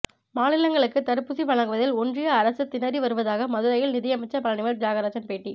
மாநிலங்களுக்கு தடுப்பூசி வழங்குவதில் ஒன்றிய அரசு திணறி வருவதாக மதுரையில் நிதியமைச்சர் பழனிவேல் தியாகராஜன் பேட்டி